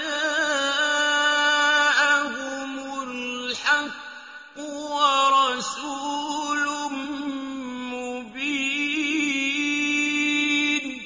جَاءَهُمُ الْحَقُّ وَرَسُولٌ مُّبِينٌ